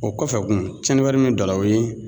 O kɔfɛ kun tiɲɛni wɛrɛ min bɛ don a la o ye